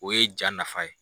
O ye ja nafa ye